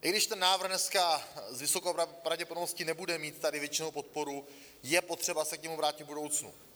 I když ten návrh dneska s vysokou pravděpodobností nebude mít tady většinovou podporu, je potřeba se k němu vrátit v budoucnu.